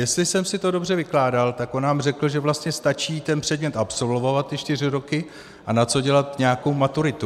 Jestli jsem si to dobře vykládal, tak on nám řekl, že vlastně stačí ten předmět absolvovat, ty čtyři roky, a na co dělat nějakou maturitu.